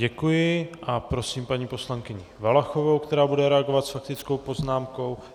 Děkuji a prosím paní poslankyni Valachovou, která bude reagovat s faktickou poznámkou.